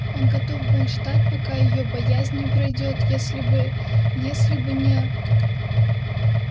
он готов был ждать пока её боязнь не пройдёт если бы если бы не